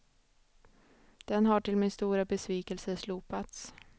Den har till min stora besvikelse slopats.